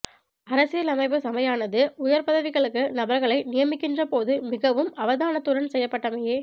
அரசியலமைப்பு சபையானது உயர் பதவிகளுக்கு நபர்களை நியமிக்கின்ற போது மிகவும் அவதானத்துடன் செய்யப்பட்டமையே